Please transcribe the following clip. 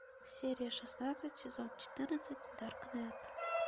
серия шестнадцать сезон четырнадцать даркнет